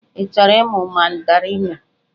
Ị chọrọ ịmụ Mandarinụ?